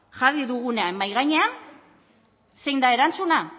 jarri dugunean mahai gainean zein da erantzuna